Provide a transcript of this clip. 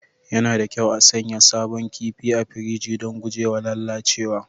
Yana da kyau a sanya sabon kifi a firiji don guje wa lalacewa